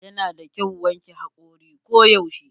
Yana da kyau wanke hakori ko yaushe.